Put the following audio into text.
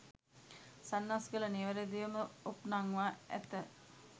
සන්නස්ගල නිවැරදිව ම ඔප්නංවා ඇත.